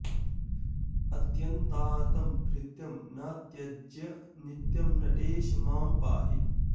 अत्यन्तार्तं भृत्यं न त्यज नित्यं नटेश मां पाहि